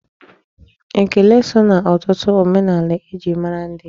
Ekele so na ọtụtụ omenaala e ji mara ndị.